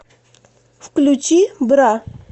включи бра